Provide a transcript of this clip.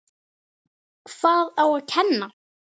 Hvað á að kenna?